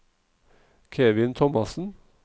Kevin Thomassen